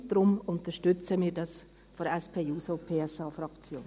Deshalb unterstützen wir dies vonseiten der SP-JUSO-PSA-Fraktion.